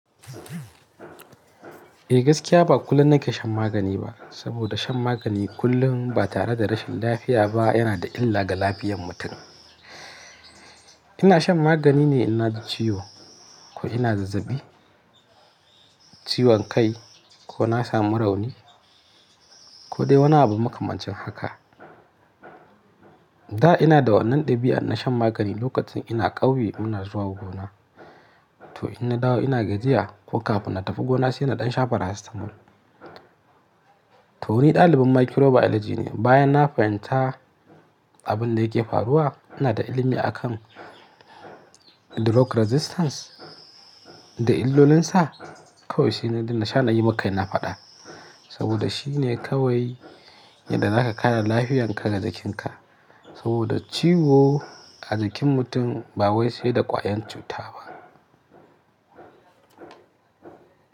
Eh gaskiya ba kullum na ke shan magani ba, saboda shan magani kullum ba tare da rashin lafiya ba yana da illa ga lafiyan mutum. Ina shan magani ne in na ji ciwo ko ina zazzaɓi, ciwon kai ko na samu rauni ko dai wani abu makamancin haka. Da ina da wannan ɗabi'ar na shan magani lokacin ina ƙauye muna zuwa gona. To in na dawo ina gajiya ko kafin na tafi gona sai ina ɗan sha paracetamol. To wani ɗalibin microbiology ne bayan na fahimta abin da yake faruwa, ina da ilimi a kan drug resistance da illolinsa kawai sai na daina sha na yi makai na faɗa. Saboda shi ne kawai yadda za ka kare lafiyanka da jikinka. Saboda ciwo a jikin mutum ba wai sai da ƙwayan cuta ba.